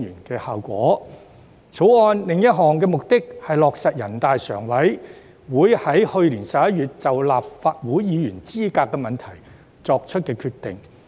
《條例草案》的另一目的，是落實人大常委會在去年11月就立法會議員資格問題作出的決定。